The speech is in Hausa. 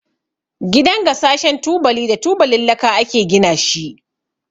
Gidan gasashen tubali da tubalin laka ake gina shi.